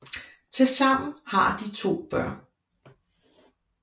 Til sammen har de 2 børn